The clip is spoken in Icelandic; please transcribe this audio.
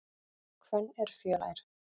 Hvönn er fjölær.